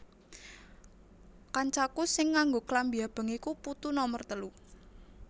Kancaku sing nganggo klambi abang iku putu nomer telu